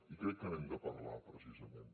i crec que n’hem de parlar precisament